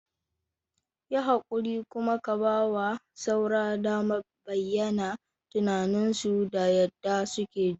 Yi haƙuri kuma ka ba wa shaura damar bayyana tunaninsu da yadda suke ji.